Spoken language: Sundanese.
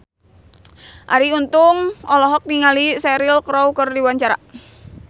Arie Untung olohok ningali Cheryl Crow keur diwawancara